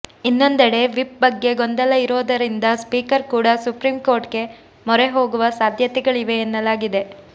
ಇನ್ನೊಂದೆಡೆ ವಿಪ್ ಬಗ್ಗೆ ಗೊಂದಲ ಇರೋದರಿಂದ ಸ್ಪೀಕರ್ ಕೂಡ ಸುಪ್ರೀಂ ಕೋರ್ಟ್ ಗೆ ಮೊರೆ ಹೋಗುವ ಸಾಧ್ಯತೆಗಳಿವೆ ಎನ್ನಲಾಗಿದೆ